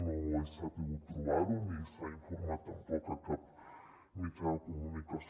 no he sabut trobar·ho ni se n’ha informat tampoc a cap mitjà de comunicació